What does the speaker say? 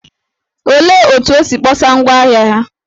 Olee otú o si kpọsa ngwá ahịa ya?